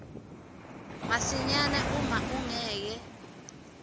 masinyane uma ungeke